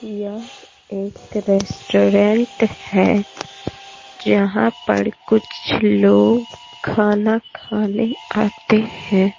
यह एक रेस्टोरेंट है जहां पर कुछ लोग खाना खाने आते हैं।